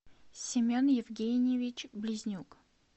семен евгеньевич близнюк